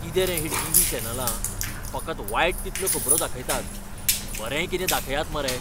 किते रे ही टिव्ही चॅनलां? फकत वायट तितल्यो खबरो दाखयतात. बरेंय कितें दाखयात मरे.